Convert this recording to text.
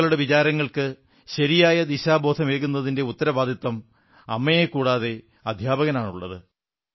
കുട്ടികളുടെ വിചാരങ്ങൾക്ക് ശരിയായ ദിശാബോധമേകുന്നതിന്റെ ഉത്തരവാദിത്തം അമ്മയെക്കൂടാതെ അധ്യാപകനാണുള്ളത്